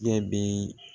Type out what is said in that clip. Ne bɛ